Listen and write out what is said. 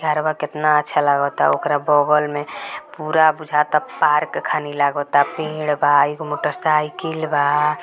घरवा कितना अच्छा लगता ओकरा बगल में पूरा बुझाता पार्क खनि लगत बा पेड़ बा एगो मोटर साइकिल बा।